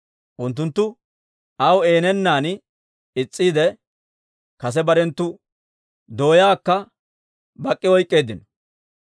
Unttunttu aw eeno geennan is's'iide, kase barenttu doyaakka bak'k'i oyk'k'eeddino.